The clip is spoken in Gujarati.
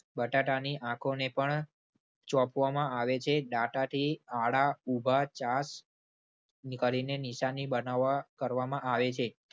બટાટાની આંખોને પણ ચોંપવામાં આવે છે. દાંતાથી આડા ઉભા ચાસ નીકાળીને નિશાની બનાવવા, કરવામાં આવે છે.